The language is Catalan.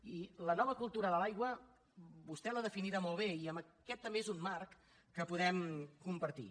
i la nova cultura de l’aigua vostè l’ha definida molt bé i aquest també és un marc que podem compartir